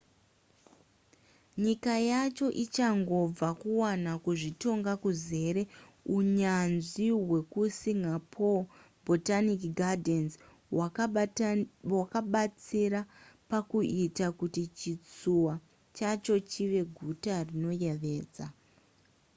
nyika yacho ichangobva kuwana kuzvitonga kuzere unyanzvi hwekusingapore botanic gardens' hwakabatsira pakuita kuti chitsuwa chacho chive guta rinoyevedza